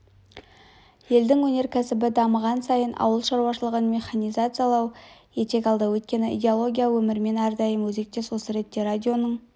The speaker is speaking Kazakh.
елдің өнеркәсібі дамыған сайын ауыл шаруашылығын механизациялау етек алды өйткені идеология өмірмен әрдайым өзектес осы ретте радионың